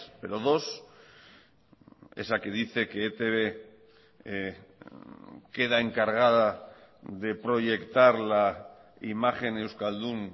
pero dos esa que dice que etb queda encargada de proyectar la imagen euskaldun